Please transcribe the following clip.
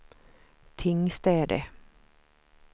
Tingstäde